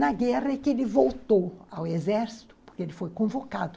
Na guerra é que ele voltou ao exército, porque ele foi convocado.